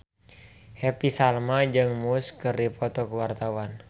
Happy Salma jeung Muse keur dipoto ku wartawan